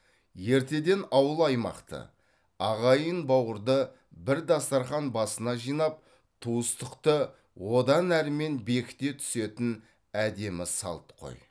ертеден ауыл аймақты ағайын бауырды бір дастархан басына жинап туыстықты одан әрмен бекіте түсетін әдемі салт қой